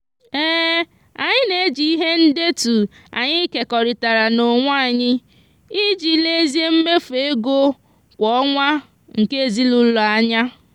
anyị na-eji ihe ndetu anyị kekọrịtara n'onwe anyị iji lezie mmefu ego kwa ọnwa nke ezinụụlọ anya.